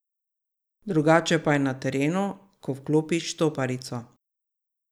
Drugače pa je na terenu, ko vklopi štoparico.